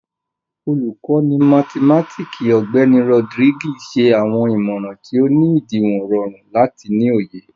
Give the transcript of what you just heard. Olukọni mathimatiki, Ọgbẹni Rodriguez, ṣe awọn imọran ti o ni idiwọn rọrun lati ni oye.